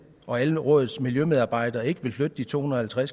og alle rådets miljømedarbejdere ikke vil flytte de to hundrede og